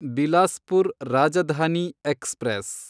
Bilaspur Rajdhani express